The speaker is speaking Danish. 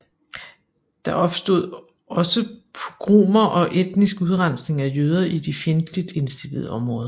Der opstod også pogromer og etnisk udrensning af jøder i de fjendtligt indstillede områder